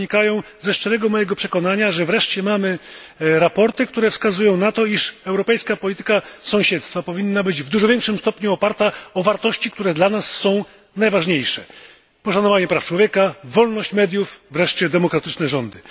One wynikają z mojego szczerego przekonania, że wreszcie mamy sprawozdania, które wskazują na to, iż europejska polityka sąsiedztwa powinna być w dużo większym stopniu oparta o wartości, które dla nas są najważniejsze poszanowanie praw człowieka, wolność mediów, demokratyczne rządy.